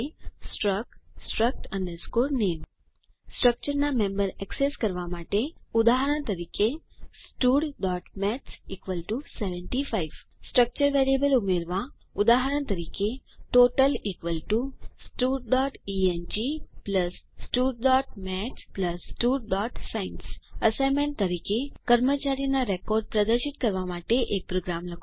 struct struct name સ્ટ્રક્ચરના member access કરવા માટે ઉદાહરણ તરીકે studમેથ્સ 75 સ્ટ્રક્ચર વેરિયેબલ ઉમેરવા ઉદાહરણ તરીકે ટોટલ studએંગ studમેથ્સ studસાયન્સ અસાઇનમેન્ટ તરીકે કર્મચારીના રેકોર્ડ પ્રદર્શિત કરવા માટે એક પ્રોગ્રામ લખો